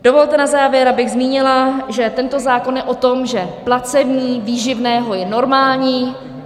Dovolte na závěr, abych zmínila, že tento zákon je o tom, že placení výživného je normální.